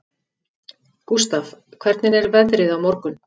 Gústaf, hvernig er veðrið á morgun?